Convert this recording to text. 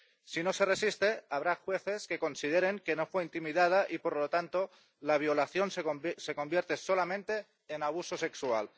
Si no se resiste, habrá jueces que consideren que no fue intimidada y, por lo tanto, la violación se convierte solamente en abuso sexual.